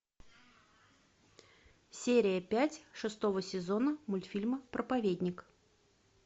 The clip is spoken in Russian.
серия пять шестого сезона мультфильма проповедник